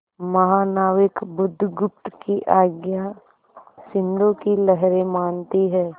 महानाविक बुधगुप्त की आज्ञा सिंधु की लहरें मानती हैं